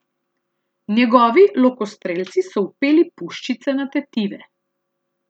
Njegovi lokostrelci so vpeli puščice na tetive.